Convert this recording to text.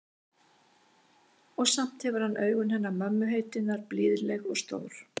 Og samt hefur hann augun hennar mömmu heitinnar, blíðleg og stór.